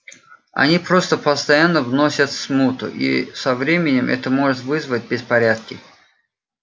они просто постоянно вносят смуту и со временем это может вызвать беспорядки